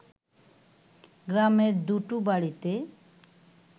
গ্রামের দুটো বাড়িতে